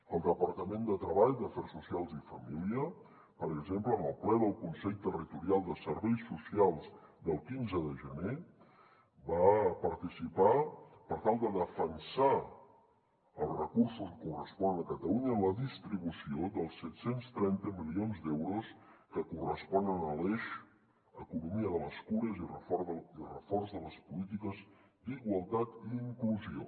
el departament de treball d’afers socials i família per exemple en el ple del consell territorial de serveis socials del quinze de gener va participar per tal de defensar els recursos que corresponen a catalunya en la distribució dels set cents i trenta milions d’euros que corresponen a l’eix economia de les cures i reforç de les polítiques d’igualtat i inclusió